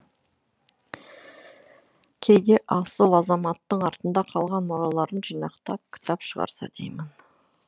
кейде асыл азаматтың артында қалған мұраларын жинақтап кітап шығарса деймін